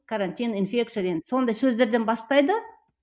карантин сондай сөздерден бастайды